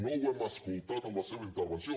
no ho hem escoltat en la seva intervenció